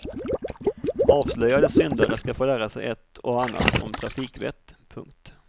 Avslöjade syndare ska få lära sig ett och annat om trafikvett. punkt